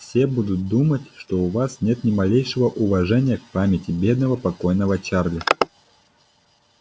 все будут думать что у вас нет ни малейшего уважения к памяти бедного покойного чарли